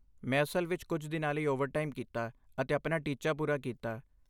ਮੈਂ ਅਸਲ ਵਿੱਚ ਕੁਝ ਦਿਨਾਂ ਲਈ ਓਵਰਟਾਈਮ ਕੀਤਾ ਅਤੇ ਆਪਣਾ ਟੀਚਾ ਪੂਰਾ ਕੀਤਾ।